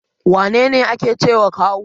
Wane ne ake cewa kawu?